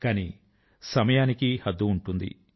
కానీ సమయానికి హద్దు ఉంటుంది